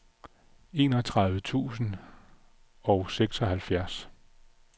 enogtredive tusind og seksoghalvfjerds